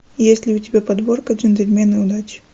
есть ли у тебя подборка джентльмены удачи